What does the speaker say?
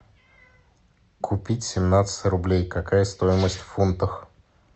купить семнадцать рублей какая стоимость в фунтах